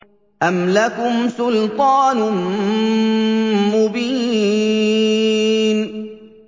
أَمْ لَكُمْ سُلْطَانٌ مُّبِينٌ